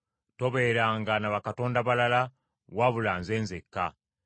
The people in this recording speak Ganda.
“Tobeeranga na bakatonda balala wabula Nze nzekka.